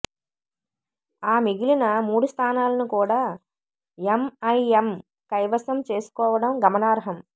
ఆ మిగిలిన మూడు స్థానాలను కూడా ఎంఐఎం కైవసం చేసుకోవడం గమనార్హం